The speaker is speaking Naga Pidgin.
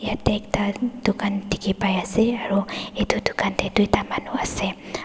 yatae ekta dukan dikhipaiase aro edu dukan tae tuita manu ase.